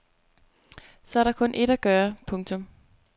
Så er der kun ét at gøre. punktum